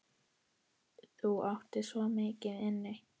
Þú áttir svo mikið inni.